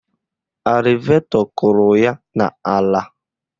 Elevetọ kụrụ ya n'ala.